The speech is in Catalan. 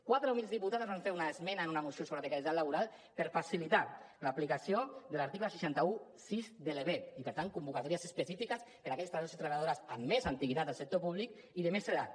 quatre humils diputades vam fer una esmena en una moció sobre la precarietat laboral per facilitar l’aplicació de l’article sis cents i setze de l’ebep i per tant convocatòries específiques per aquells treballadors i treballadores amb més antiguitat al sector públic i de més edat